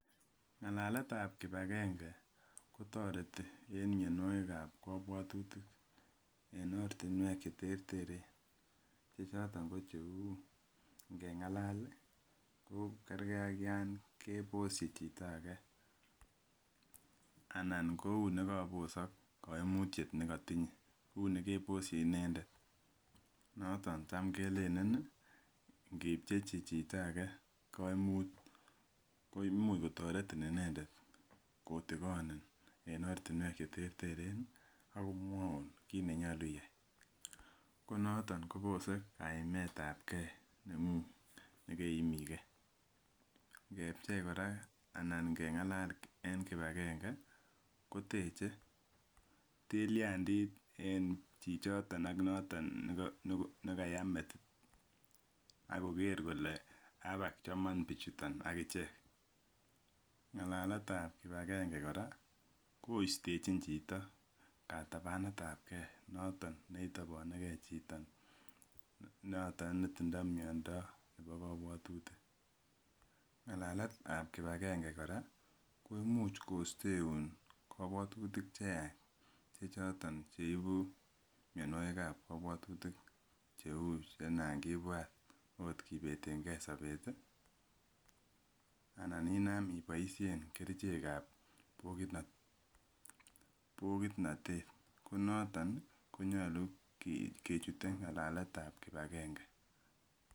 Ng'alaletab kipagenge kotoreti en mianwogikab kabwatutik en ortinwek cheterterchin che choton ko cheu ngeng'alal ko kerke ak yongeboshi chito ake anan kou nekabosok kaimutiet nekotinye uu nekeboshi inendet noton tam kelelen ngipchechi chito koimuch kotoretin inendet kotikonin en ortinwek cheterteren ako mwaun kit nenyolu iyai ko noto kotere kaimetab gee nengung nekeimi gee ngepchei kora anan keng'alal en kipagenge koteche tiliandit en chichito ak noton nekaya metit akoker kole abak chomon bichuton agichek ng'alaletab kipagenge kora koistechin chito katabanetab ge noton neitoboneke chito noto netindoo miando nebo kabwatutik ng'alaletab kipagenge kora koimuch kosteun kabwatutik cheyach chechoton cheibu mianwogikab kabwatutik cheu chenangibwat oot kobetenge sobet ii anan inam iboisien kerichekab bokitnotet konoton ii konyolu kechute ng'alaletab kipakenge.